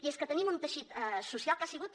i és que tenim un teixit social que ha sigut